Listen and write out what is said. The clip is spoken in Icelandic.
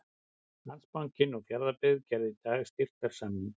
Landsbankinn og Fjarðabyggð gerðu í dag styrktarsamning.